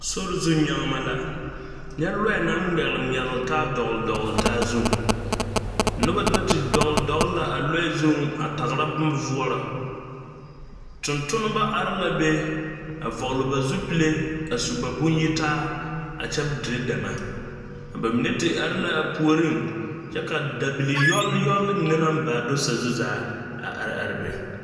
Sori zu nyaŋma la nyɛ lɔɔɛ naŋ ŋmɛgliŋmɛglj taa dɔgli dɔgli taa zuŋ ,noba do te dɔgli dɔgli la a lɔɔre zuŋ a tagre boma voɔrɔ, tonntonmo are la be a vɔgli ba zupile a su ba boŋ yitaa a kyɛ dire dɛmɛ ka ba mine te are laa puoriŋ kyɛ ka dabil yɔlyɔl mine naŋ baa do sazu zaa a are are be.